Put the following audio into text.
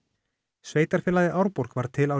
sveitarfélagið Árborg varð til árið